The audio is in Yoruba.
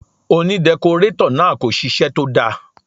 Òní dẹkọrétọ̀ náà kò ṣiṣẹ́ tó dáa.